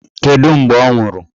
Kedụ mgbe ọ nwụrụ?